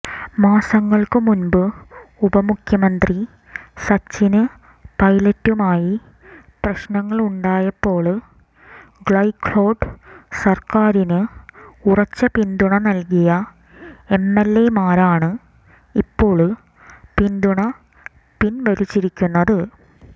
മാസങ്ങള്ക്ക് മുന്പ് ഉപമുഖ്യമന്ത്രി സച്ചിന് പൈലറ്റുമായി പ്രശ്നങ്ങളുണ്ടായപ്പോള് ഗെഹ്ലോട്ട് സര്ക്കാരിന് ഉറച്ച പിന്തുണ നല്കിയ എംഎല്എമാരാണ് ഇപ്പോള് പിന്തുണ പിന്വലിച്ചിരിക്കുന്നത്